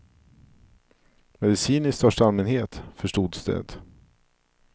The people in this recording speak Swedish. Medicin i största allmänhet, förstods det.